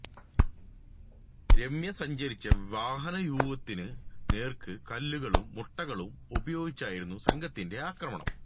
രമ്യ സഞ്ചരിച്ച വാഹനവ്യൂഹത്തിനു നേർക്കു കല്ലുകളും മുട്ടകളും ഉപയോഗിച്ചായിരുന്നു സംഘത്തിന്റെ ആക്രമണം